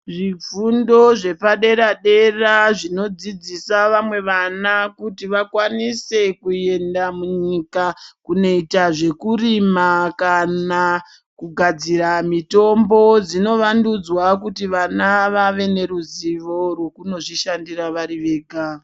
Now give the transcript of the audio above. Zvifundo zvepadera-dera zvinodzidzisa vamwe vana kuti vakwanise kuenda munyika kunoita zvekurima kana kugadzira mitombo. Dzinovandudzwa kuti vana vave neruzivo rwekunozvishandira vari vega.